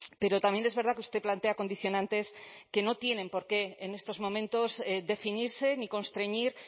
pero también es verdad que usted plantea condicionantes que no tienen por qué en estos momentos definirse ni constreñir